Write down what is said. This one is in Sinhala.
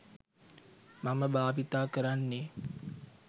මම භාවිතා කරන්නෙ